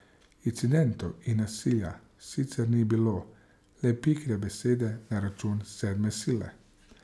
Incidentov in nasilja sicer ni bilo, le pikre besede na račun sedme sile.